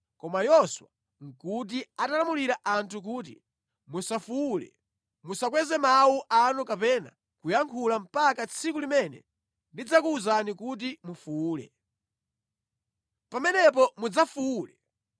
Koma Yoswa nʼkuti atalamulira anthu kuti, “Musafuwule, musakweze mawu anu kapena kuyankhula mpaka tsiku limene ndidzakuwuzani kuti mufuwule. Pamenepo mudzafuwule!”